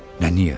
Nə niyə?